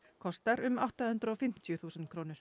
kostar um átta hundruð og fimmtíu þúsund krónur